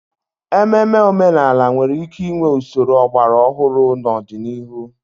Ememe omenala nwere ike inwe usoro ọgbara ọhụrụ n'ọdịnihu